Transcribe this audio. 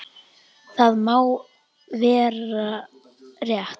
Það má vera rétt.